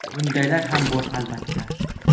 Bundaylar ham bor, albatta.